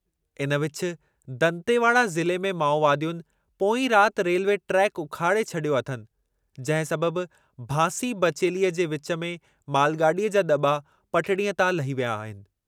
इन विच, दंतेवाड़ा ज़िले में माओवादियुनि पोईं राति रेलवे ट्रैक उखाड़े छॾियो अथनि, जंहिं सबबि भांसी बचेलीअ जे विचु में मालगाॾीअ जा दॿा पटड़ीअ तां लही विया आहिनि।